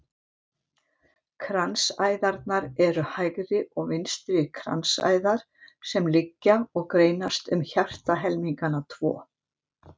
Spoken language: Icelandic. Kransæðarnar eru hægri og vinstri kransæðar sem liggja og greinast um hjartahelmingana tvo.